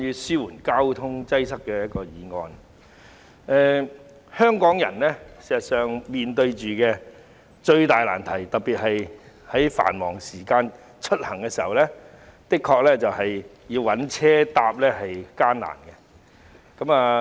事實上，香港人面對最大的難題，特別是繁忙時間出行，就是乘坐交通工具的確很艱難。